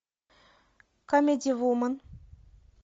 камеди вумен